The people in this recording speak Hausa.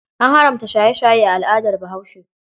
An haramta shaye-shaye a al'adar Bahaushe.